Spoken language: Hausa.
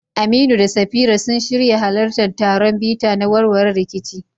Aminu da Safira sun shirya halartar taron bita na warware rikici